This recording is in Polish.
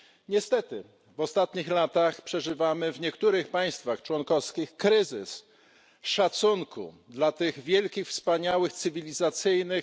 Niestety w ostatnich latach przeżywamy w niektórych państwach członkowskich kryzys szacunku dla tych wielkich, wspaniałych wartości cywilizacyjnych.